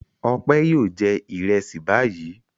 Ọpẹ́ yóò jẹ ìrẹsì báyìí.